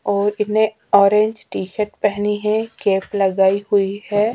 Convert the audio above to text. और इतने orange T shirt पहनी है कैप लगाई हुई है।